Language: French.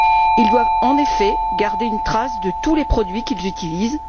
Ils doivent, en effet, garder une trace de tous les produits qu'ils utilisent.